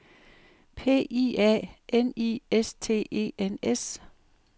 P I A N I S T E N S